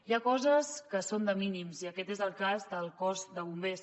hi ha coses que són de mínims i aquest és el cas del cos de bombers